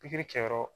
Pikiri kɛ yɔrɔ